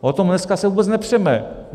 O tom se dneska vůbec nepřeme.